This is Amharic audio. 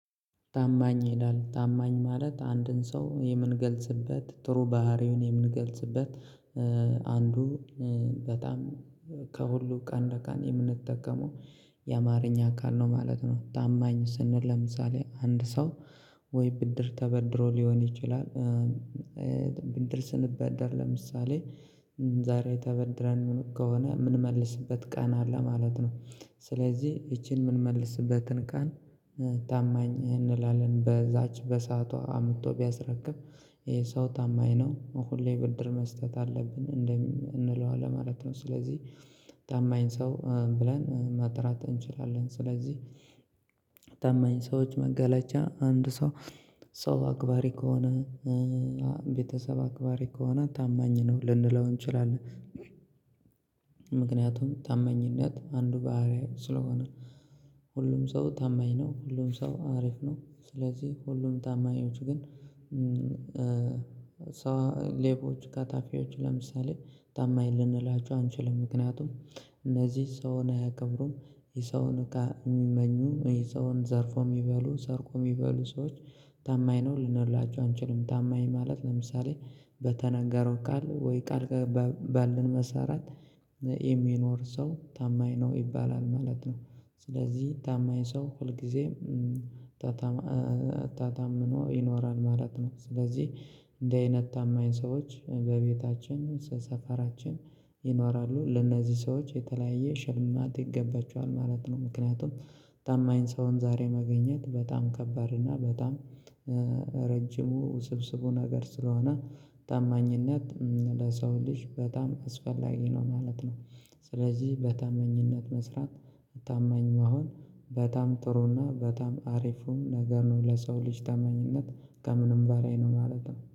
ታማኝ ይላል ታማኝ ማለት አንድን ሰው የምንገልጽበት ጥሩ ባህሪውን የምንገልጽበት አንዱ በጣም ከሁሉ ቀን በቀን የምንጠቀመው የአማርኛ ቃል ነው ማለት ነው። ታማኝ ስንል ለምሳሌ አንድ ሰው ወይ ብድር ተበድሮ ሊሆን ይችላል ብንድር ስንበደር ለምሳሌ ዛሬ ተበድረን ምን ከሆነ የምንመልስበት ቀን አለ ማለት ነው። ስለዚህ ይቺን የምንመልስበትን ቀን ታማኝ እንላለን በዛች በሰአቷ አምጥቶ ቢያስረክብ ይሄ ሰው ታማኝ ነው ሁሌ ብድር መስጠት አለብን እንለዋለን ማለት ነው። ስለዚህ ታማኝ ሰው ብለን መጥራት እንችላለን። ስለዚህ ታማኝ ሰዎች መገለጫ አንድ ሰው ሰው አክባሪ ከሆነ ቤተሰብ አክባሪ ከሆነ ታማኝ ነው ልንለው እንችላለን። ምክንያቱም ታማኝነት አንዱ ባህሪያት ስለሆነ ሁሉም ሰው ታማኝ ነው ሁሉም ሰው አሪፍ ነው። ስለዚህ ሁሉም ታማኞች ግን ሌቦች ቀጣፊያዎቹ ለምሳሌ ታማኝ ልንላችሁ አንችልም ምክንያቱም እነዚህ ሰውን አያከብሩም። የሰውን እቃ የሚመኙ ይሄ ሰውን ዘርፎ የሚበሉ ሰርቆ የሚበሉ ሰዎች ታማኝ ነው ልንላቸው አንችልም። ታማኝ ማለት ለምሳሌ በተናገረው ቃል ወይ ቃል ባለን መሰረት የሚኖር ሰው ታማኝ ነው ይባላል ማለት ነው። ስለዚህ ታማኝ ሰው ሁል ጊዜ ተታምኖ ይኖራል ማለት ነው። ስለዚህ እንዲህ አይነት ታማኝ ሰዎች በቤታችን ሰፈራችን ይኖራሉ ለእነዚህ ሰዎች የተለያየ ሽልማት ይገባቸዋል ማለት ነው። ምክንያቱም ታማኝ ሰውን ዛሬ ማግኘት በጣም ከባድ እና በጣም ረጅሙ ስብስቡ ነገር ስለሆነ ታማኝነት ለሰው ልጅ በጣም አስፈላጊ ነው ማለት ነው። ስለዚህ በታማኝነት መስራት ታማኝ መሆን በጣም ጥሩና በታም አሪፉ ነገር ነው ለሰው ልጅ ተመኝነት ከምንም ባላይ ነው ማለት ነው